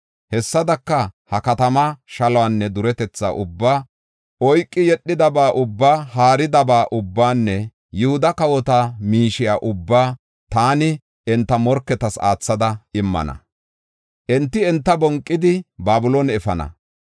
Hessadaka, ha katama shaluwanne duretetha ubbaa, oyki yedhidaba ubbaa, haaridaba ubbaanne Yihuda kawota miishiya ubbaa taani enta morketas aathada immana; enti enta bonqidi Babiloone efana.